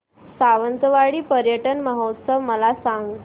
सावंतवाडी पर्यटन महोत्सव मला सांग